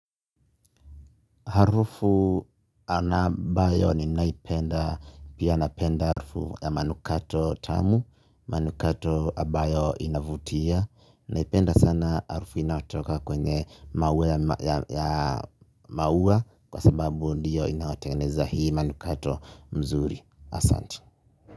Harufu anabayo ni naipenda, pia napenda harufu ya manukato tamu, manukato abayo inavutia. Naipenda sana harufu inaotoka kwenye maua kwa sababu ndiyo inaoteneza hii manukato mzuri asanti.